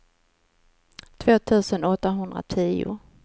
två tusen åttahundratio